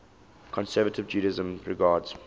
conservative judaism regards